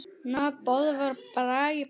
Nafn: Böðvar Bragi Pálsson